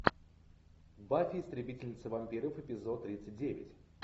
баффи истребительница вампиров эпизод тридцать девять